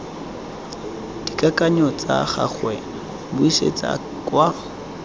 dikakanyo tsa gagwe buisetsa kwa